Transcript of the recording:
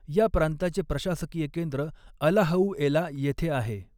या प्रांताचे प्रशासकीय केंद्र अलाहउएला येथे आहे.